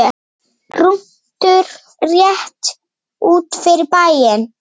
Rúntur rétt út fyrir bæinn.